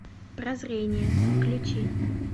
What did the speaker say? прозрение включи